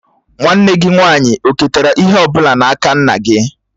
Nwanne gị nwaanyị oketara ihe ọ bụla n'aka nna gị?